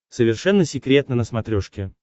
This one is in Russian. совершенно секретно на смотрешке